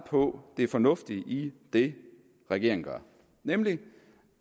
på det fornuftige i det regeringen gør nemlig